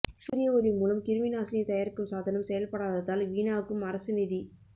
சூரிய ஒளி மூலம் கிருமிநாசினி தயாரிக்கும் சாதனம் செயல்படாததால் வீணாகும் அரசு நிதி